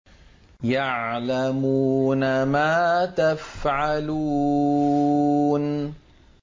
يَعْلَمُونَ مَا تَفْعَلُونَ